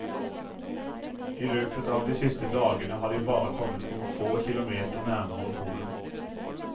I løpet av de siste dagene har de bare kommet noen få kilometer nærmere polen.